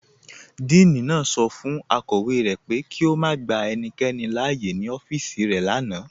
Díìní naá sọ fun akọwe rẹ pé kí o má gbà ènìkẹ́ni láàyè ní ọfíìsì rẹ lánà.